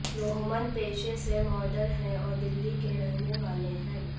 रोहमन पेशे से मॉडल हैं और दिल्ली के रहने वाले हैं